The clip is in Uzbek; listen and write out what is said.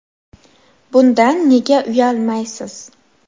Bundan nega uyalmaysiz?